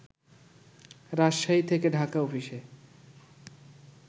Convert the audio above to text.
রাজশাহী থেকে ঢাকা অফিসে